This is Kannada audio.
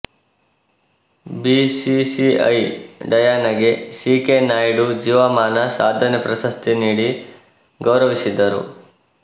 ಬಿಸಿಸಿಐ ಡಯಾನಾಗೆ ಸಿ ಕೆ ನಾಯ್ಡು ಜೀವಮಾನ ಸಾಧನೆ ಪ್ರಶಸ್ತಿ ನೀಡಿ ಗೌರವಿಸಿದರು